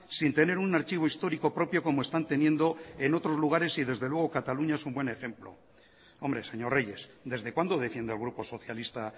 sin tener un archivo histórico propio como están teniendo en otros lugares y desde luego cataluña es un buen ejemplo hombre señor reyes desde cuándo defiende el grupo socialista